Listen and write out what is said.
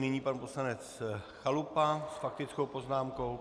Nyní pan poslanec Chalupa s faktickou poznámkou.